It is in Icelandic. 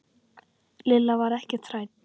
Lilla var ekkert hrædd.